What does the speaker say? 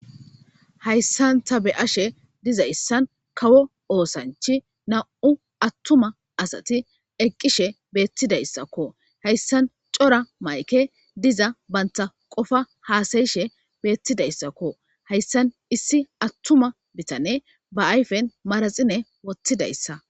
Hayssan ta be7ashe dizayssan kawo oosanchi na7u attuma asati eqqishe beettidayssakko. Hayssan cora mayke diza bantta qofa haasayishe beettidayssakko. Hayssan issi athuma bithane ba ayfen maraxine wothidayssa.